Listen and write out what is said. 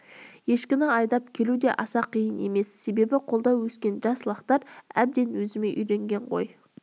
ешкіні айдап келу де аса қиын емес себебі қолда өскен жас лақтар өзіме әбден үйренген ғой